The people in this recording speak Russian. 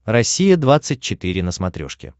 россия двадцать четыре на смотрешке